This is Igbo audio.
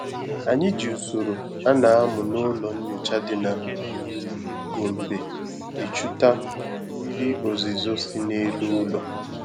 Anyị ji usoro ana amụ na ụlọ nyocha dị na Gombe echuta mmiri ozizo si na elu ụlọ